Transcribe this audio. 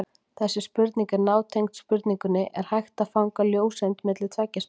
Þessi spurning er nátengd spurningunni Er hægt að fanga ljóseind milli tveggja spegla?